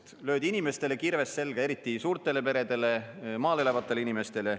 Automaksuga löödi inimestele kirves selga, eriti suurtele peredele, maal elavatele inimestele.